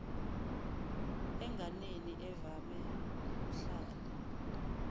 enganeni evame ukuhlala